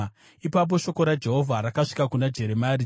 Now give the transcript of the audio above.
Ipapo shoko raJehovha rakasvika kuna Jeremia, richiti,